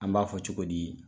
An b'a fɔ cogo di ?